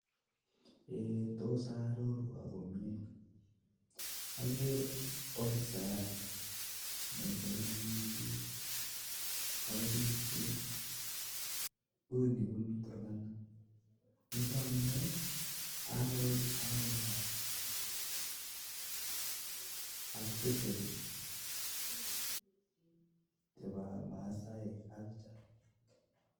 Tos arorwok komye akere ofisayat nesiru akobichu kouyu bunu turkana kelach ngoroik cheuyo bunu masaek